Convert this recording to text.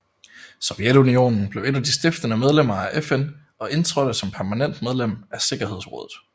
Sovjetunionen blev et af de stiftende medlemmer af FN og indtrådte som permanent medlem af sikkerhedsrådet